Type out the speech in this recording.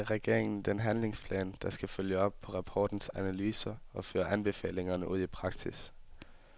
I går fremlagde regeringen den handlingsplan, der skal følge op på rapportens analyser og føre anbefalingerne ud i praksis.